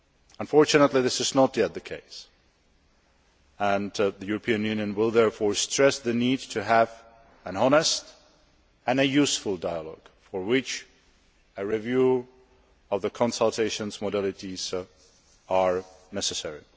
Unfortunately, this is not yet the case and the European Union will therefore stress the need to have an honest and useful dialogue for which a review of the consultations' modalities is necessary.